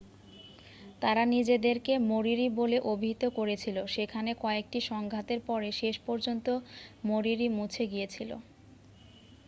তারা নিজেদেরকে মরিরি বলে অভিহিত করেছিল সেখানে কয়েকটি সংঘাতের পরে শেষ পর্যন্ত মরিরি মুছে গিয়েছিল